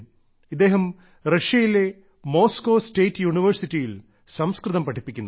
ഇദ്ദേഹം റഷ്യയിലെ Moscow state യൂണിവേഴ്സിറ്റിയിൽ സംസ്കൃതം പഠിപ്പിക്കുന്നു